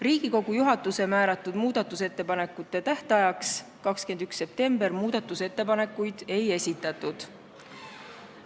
Riigikogu juhatuse määratud muudatusettepanekute esitamise tähtajaks, 21. septembriks muudatusettepanekuid ei esitatud.